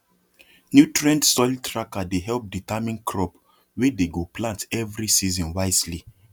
nutrient soil tracker dey help determine crop wey dey go plant every season wisely